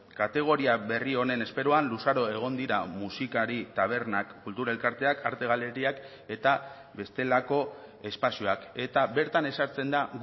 kategoria berri honen esperoan luzaro egon dira musikari tabernak kultura elkarteak arte galeriak eta bestelako espazioak eta bertan ezartzen da